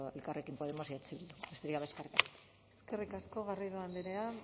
elkarrekin podemos y eh bildu besterik gabe eskerrik asko eskerrik asko garrido andrea